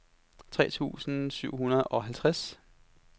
tre tusind syv hundrede og halvtreds